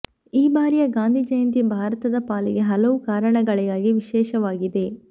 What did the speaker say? ಈ ಬಾರಿಯ ಗಾಂಧಿ ಜಯಂತಿ ಭಾರತದ ಪಾಲಿಗೆ ಹಲವು ಕಾರಣಗಳಿಗಾಗಿ ವಿಶೇಷವಾಗಿದೆ